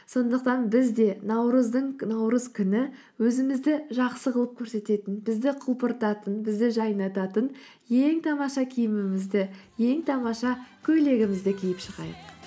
сондықтан біз де наурыз күні өзімізді жақсы қылып көрсететін бізді құлпыртатын бізді жайнататын ең тамаша киімімізді ең тамаша көйлегімізді киіп шығайық